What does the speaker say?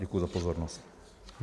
Děkuji za pozornost.